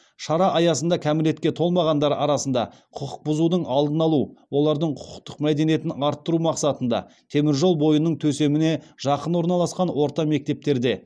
шара аясында кәмелетке толмағандар арасында құқық бұзудың алдын алу олардың құқықтық мәдениетін арттыру мақсатында теміржол бойының төсеміне жақын орналасқан орта мектептерде